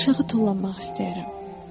Mən aşağı tullanmaq istəyərəm.